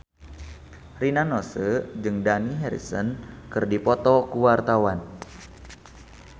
Rina Nose jeung Dani Harrison keur dipoto ku wartawan